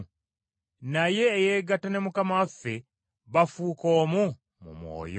Naye eyeegatta ne Mukama waffe bafuuka omu mu mwoyo.